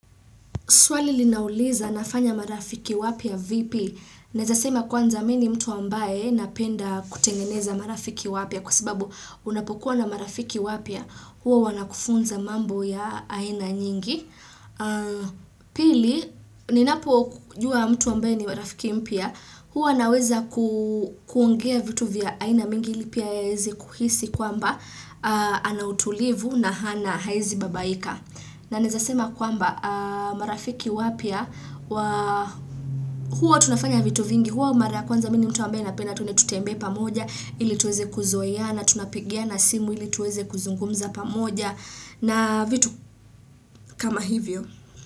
Swali linauliza nafanya marafiki wapya vipi. Naeza sema kwanza mimi ni mtu ambaye napenda kutengeneza marafiki wapya kwa sababu unapokuwa na marafiki wapya huwa wanakufunza mambo ya aina nyingi. Pili, ninapojua mtu ambaye ni marafiki mpya huwa naweza kuongea vitu vya aina mingi pia yeye aeze kuhisi kwamba anautulivu na hana haezibabaika. Na naeza sema kwamba marafiki wapya, wa huwa tunafanya vitu vingi, huwa mara ya kwanza mi ni mtu ambaye napenda tuende tutembee pamoja ili tuweze kuzoeana tunapigiana simu ili tuweze kuzungumza pamoja na vitu kama hivyo.